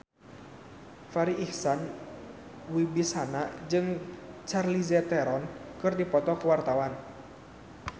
Farri Icksan Wibisana jeung Charlize Theron keur dipoto ku wartawan